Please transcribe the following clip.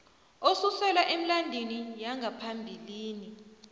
osuselwa emilandwini yangaphambilini